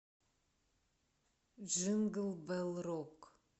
джингл белл рок